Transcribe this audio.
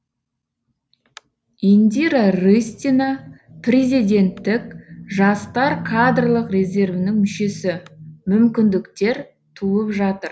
индира рыстина президенттік жастар кадрлық резервінің мүшесі мүмкіндіктер туып жатыр